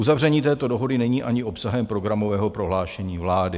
Uzavření této dohody není ani obsahem programového prohlášení vlády.